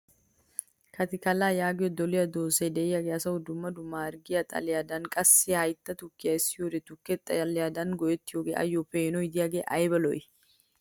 Katikallaa yaagiyo doliya doozay diyagee asay dumma dumma harggiyawu xaledaninne qassi hayitta tukkiya essiyoode tukke xaledan go'ettiyogee ayyo peenodiyagee ayiba lo'ii!